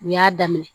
U y'a daminɛ